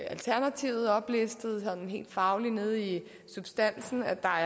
alternativet oplistede altså sådan helt fagligt nede i substansen med at der